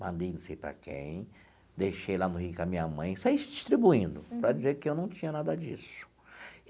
mandei não sei para quem, deixei lá no Rio com a minha mãe, saí distribuindo, para dizer que eu não tinha nada disso.